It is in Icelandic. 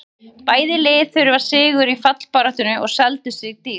Bæði lið þurftu sigur í fallbaráttunni og seldu sig dýrt.